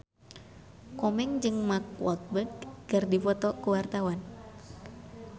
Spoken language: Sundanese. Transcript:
Komeng jeung Mark Walberg keur dipoto ku wartawan